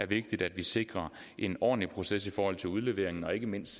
vigtigt at vi sikrer en ordentlig proces i forhold til udleveringen og ikke mindst